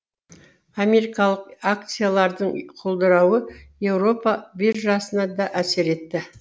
америкалық акциялардың құлдырауы еуропа биржасына да әсер етті